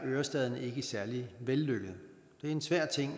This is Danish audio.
ørestaden ikke særlig vellykket det er en svær ting